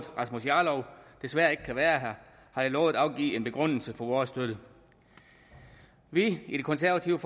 rasmus jarlov desværre ikke kan være her har jeg lovet at give en begrundelse for vores støtte vi i det konservative